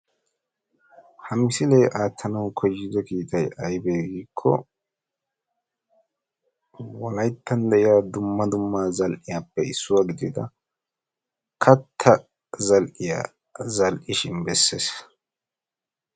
ha misilee aattanawu koyyido kiitay aybee giikko wolayttan de'iyaa dumma dumma zal'iyaappe issuwaa gidida kattaa zal"iyaa zal"ishin bessees.